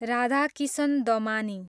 Radhakishan Damani